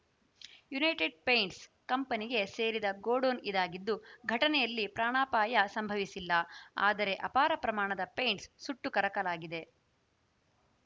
United paints ಕಂಪನಿಗೆ ಸೇರಿದ godown ಇದಾಗಿದ್ದು ಘಟನೆಯಲ್ಲಿ ಪ್ರಾಣಾಪಾಯ ಸಂಭವಿಸಿಲ್ಲ ಆದರೆ ಅಪಾರ ಪ್ರಮಾಣದ ಪೈಂಟ್ಸ್‌ ಸುಟ್ಟು ಕರಕಲಾಗಿದೆ